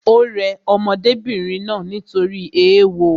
Ò rẹ ọmọdébìnrin náà nítorí ééwo